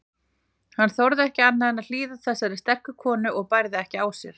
Hann þorði ekki annað en hlýða þessari sterku konu og bærði ekki á sér.